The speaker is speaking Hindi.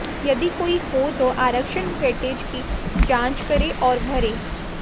यदि कोई हो तो आरक्षण वेटेज की जाँच करें और भरें